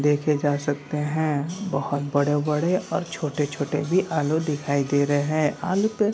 देखे जा सकते है। बोहोत बड़े-बड़े और छोटे-छोटे भी आलू दिखाई दे रहे है। आलू पे --